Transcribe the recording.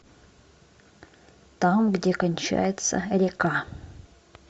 там где кончается река